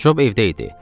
Cob evdə idi.